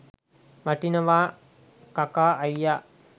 වටිනවා කකා අයියා